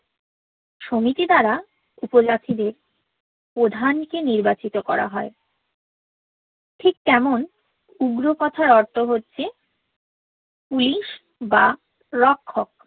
সমিতি দারা উপজাতিদের প্রধানকে নির্বাচিত করা হয় ঠিক তেমন উগ্র কথার অর্থ হছে পুলিশ বা রক্ষক